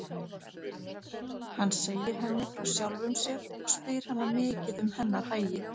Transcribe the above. Hann segir henni frá sjálfum sér og spyr hana mikið um hennar hagi.